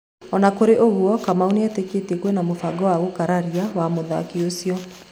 Ona kũrĩ ũguo Kamau nĩetĩkĩtie kwĩna mũbango wa gũkararia wa mũthaki ũcio